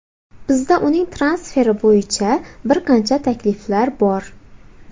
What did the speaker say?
Bizda uning transferi bo‘yicha bir qancha takliflar bor.